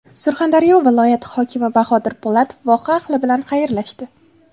Surxondaryo viloyati hokimi Bahodir Po‘latov voha ahli bilan xayrlashdi.